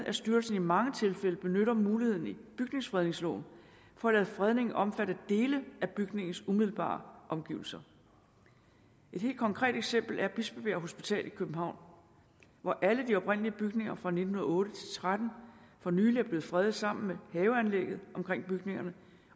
at styrelsen i mange tilfælde benytter muligheden i bygningsfredningsloven for at lade fredningen omfatte dele af bygningens umiddelbare omgivelser et helt konkret eksempel er bispebjerg hospital i københavn hvor alle de oprindelige bygninger fra nitten nul otte til tretten for nylig er blevet fredet sammen med haveanlægget omkring bygningerne